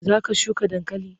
Za ka shuka dankali?